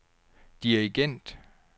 dirigent